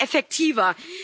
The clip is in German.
Das wäre effektiver.